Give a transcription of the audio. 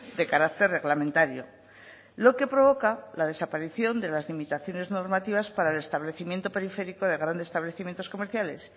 de carácter reglamentario lo que provoca la desaparición de las limitaciones normativas para el establecimiento periférico de grandes establecimientos comerciales